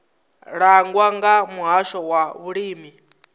langwa nga muhasho wa vhulimi